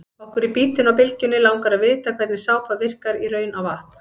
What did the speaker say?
Okkur í Bítinu á Bylgjunni langar að vita hvernig sápa virkar í raun á vatn?